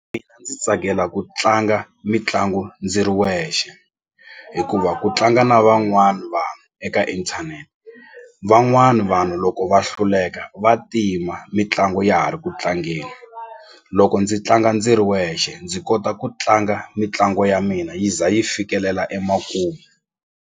ndzi tsakela ku tlanga mitlangu ndzi ri wexe hikuva ku tlanga na van'wani vanhu eka inthanete van'wani vanhu loko va hluleka va tima mitlangu ya ha ri ku tlangeni loko ndzi tlanga ndzi ri wexe ndzi kota ku tlanga mitlangu ya mina yi za yi fikelela emakumu.